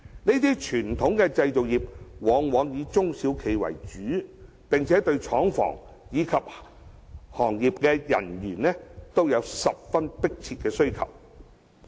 這些傳統製造業以中小企為主，並對廠房及行業從業員均有十分迫切的需求。